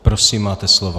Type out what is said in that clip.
Prosím, máte slovo.